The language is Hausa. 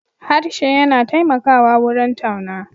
Harshe yana taimakawa wurin tauna.